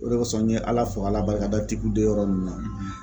O de kosɔn n ye ala fo k'ala barika da tipudɔn yɔrɔ ninnu na.